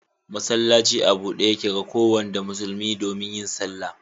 Masallaci a bude Yake ga kowanda musulmi domin yin sallah.